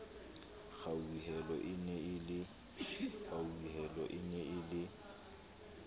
kgauhelo e ne e le